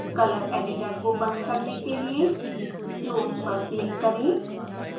color editor को बंद करने के लिए close पर क्लिक करें